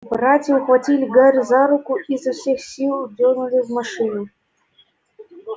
братья ухватили гарри за руки и изо всех сил дёрнули в машину